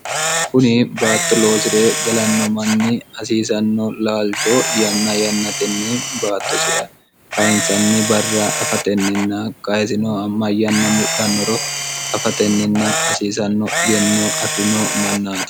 kuni baatto loosire galanno manni hasiisanno laalcho yanna yannatenni baattosira kayinsanni barra afatenninna kayisino ma yanna mudhannoro afatenninna hasiisanno egenno afirino mannaati